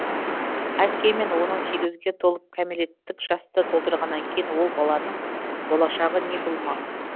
әйткенмен он сегізге толып кәмелеттік жасты толтырғаннан кейін ол баланың болашағы не болмақ